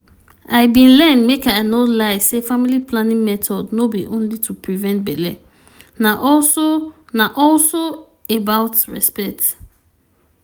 i bin learn make i no lie say family planning method no be only to prevent belle na also na also about respect.